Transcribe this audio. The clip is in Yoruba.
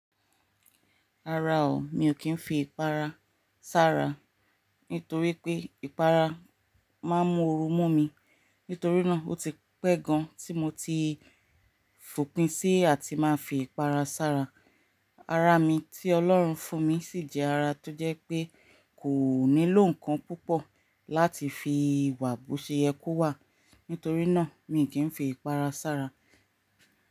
Rara o, mi ò kí ń fi ìpara s'ára nítorí pé ìpara máa ń mú oru mú mi. Nítorí náà, ó ti pẹ́ gan tí mo ti fòpin sí àti máa fi ìpara s'ára. Ara mi tí Ọlọ́run fún mi sì jẹ́ ara tó jẹ́ pé kò nílò nǹkan púpọ̀ láti fi wà bo ṣe yẹ ko wà. Nítorí náà, mi ò kí ń fi ìpara s'ára.